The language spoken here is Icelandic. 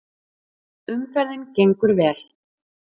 Umferðin gengur vel